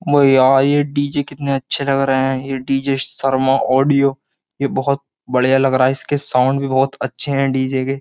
ओ यार ये डी_जे कितने अच्छे लग रहे हैं। ये डी_जे शर्मा ऑडियो ये बोहोत बढ़िया लग रहा है इसके साउंड भी बोहोत अच्छे हैं डी_जे के।